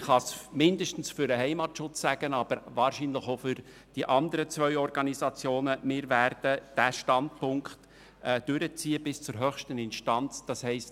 Ich kann mindestens für den Heimatschutz sagen, – aber wahrscheinlich auch für die anderen zwei Organisationen – dass wir bereit sind, bis zur höchsten Instanz zu gehen.